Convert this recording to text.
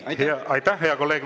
Aitäh, hea kolleeg!